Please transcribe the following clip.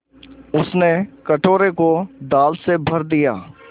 उसने कटोरे को दाल से भर दिया